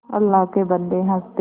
अल्लाह के बन्दे हंस दे